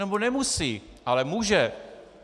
Nebo nemusí, ale může!